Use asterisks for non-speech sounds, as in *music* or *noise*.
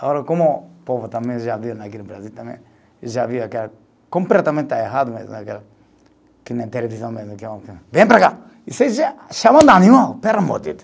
Agora, como o povo também já viu, *unintelligible* aqui no Brasil também, já viu aquela, completamente errado *unintelligible* que na televisão mesmo, *unintelligible* venha para cá, e você *unintelligible*